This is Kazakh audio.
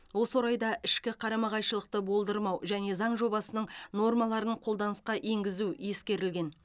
осы орайда ішкі қарама қайшылықты болдырмау және заң жобасының нормаларын қолданысқа енгізу ескерілген